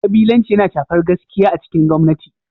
Kabilanci yana shafar gaskiya a cikin gwamnati.